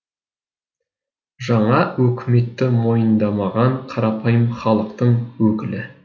жаңа өкіметті мойындамаған қарапайым халықтың өкілі